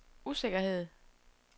usikkerhed